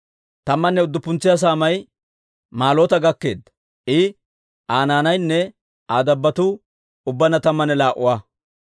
Tammanne udduppuntsa saamay Malloota gakkeedda; I, Aa naanaynne Aa dabbotuu ubbaanna tammanne laa"a.